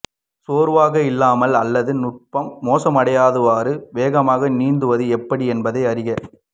சோர்வாக இல்லாமல் அல்லது நுட்பம் மோசமடையாதவாறு வேகமாக நீந்துவது எப்படி என்பதை அறிக